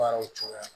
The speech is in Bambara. Baaraw cogoya